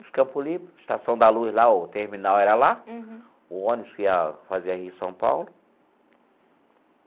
Os Campo Limpo, a Estação da Luz lá, o terminal era lá, o ônibus que ia fazia Rio e São Paulo.